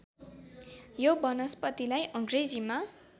यो वनस्पतिलाई अङ्ग्रेजीमा